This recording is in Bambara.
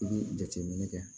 I bɛ jateminɛ kɛ